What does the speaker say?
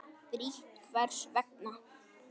Frítt Hvers vegna?